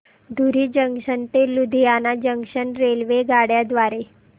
धुरी junction ते Ludhiana junction रेल्वेगाड्यां द्वारे